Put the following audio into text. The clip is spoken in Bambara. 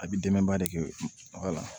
A bɛ dɛmɛba de kɛ baga la